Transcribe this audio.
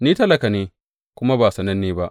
Ni talaka ne, kuma ba sananne ba.